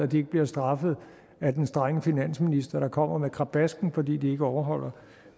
de ikke bliver straffet af den strenge finansminister der kommer med krabasken fordi de ikke overholder